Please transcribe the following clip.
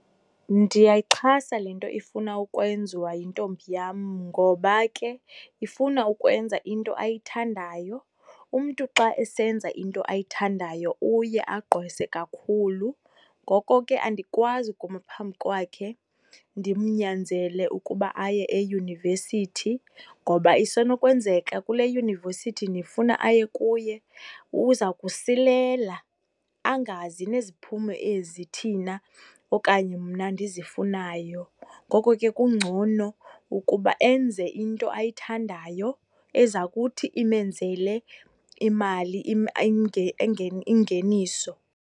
Ndiyayixhasa le nto ifuna ukwenziwa yintombi yam ngoba ke ifuna ukwenza into ayithandayo. Umntu xa esenza into ayithandayo uye agqwese kakhulu, ngoko ke andikwazi kuma phambi kwakhe ndimnyanzele ukuba aye eyunivesithi, ngoba isenokwenzeka kule yunivesithi ndifuna aye kuye, uza kusilela, angazi neziphumo ezi thina okanye mna ndizifunayo. Ngoko ke kungcono ukuba enze into ayithandayo eza kuthi imenzele imali ingeniso.